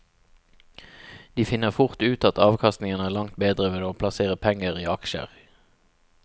De finner fort ut at avkastningen er langt bedre ved å plassere penger i aksjer.